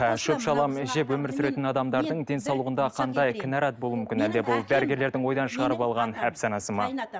ы шөп шалам жеп өмір сүретін адамдардың денсаулығында қандай кінәрат болуы мүмкін әлде бұл дәрігерлердің ойдан шығарып алған әпсанасы ма